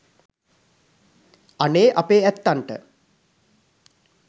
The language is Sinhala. අනේ අපේ ඇත්තන්ට